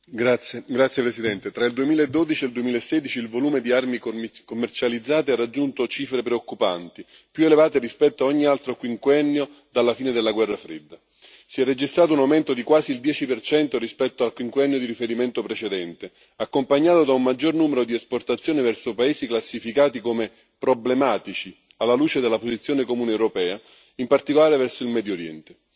Signora Presidente, onorevoli colleghi, tra il 2012 e il 2016 il volume di armi commercializzate ha raggiunto cifre preoccupanti, più elevate rispetto a ogni altro quinquennio dalla fine della Guerra fredda. Si è registrato un aumento di quasi il 10 rispetto al quinquennio di riferimento precedente, accompagnato da un maggior numero di esportazioni verso paesi classificati come problematici alla luce della posizione comune europea, in particolare verso il Medio Oriente.